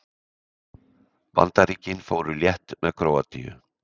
Bandaríkin fóru létt með Króatíu